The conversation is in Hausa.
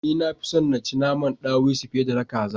Ni nafi son na ci naman ɗawisu fiye da na kaza